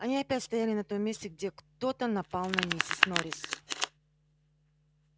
они опять стояли на том месте где кто-то напал на миссис норрис